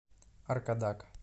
аркадак